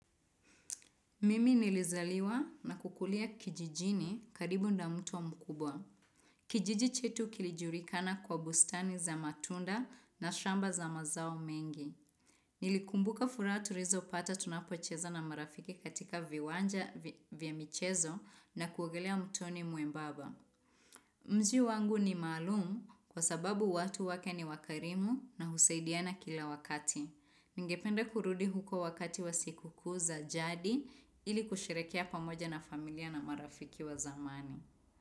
Mimi nilizaliwa na kukulia kijijini karibu na mto mkubwa. Kijiji chetu kilijulikana kwa bustani za matunda na shamba za mazao mengi. Nilikumbuka furaha tulizopata tunapocheza na marafiki katika viwanja vya michezo na kuogelea mtoni mwembamba. Mziu wangu ni maalumu kwa sababu watu wake ni wakarimu na husaidiana kila wakati. Ningependa kurudi huko wakati wa sikukuu za jadi ili kusherehekea pamoja na familia na marafiki wa zamani.